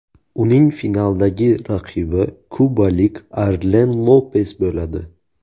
Uning finaldagi raqibi kubalik Arlen Lopes bo‘ladi.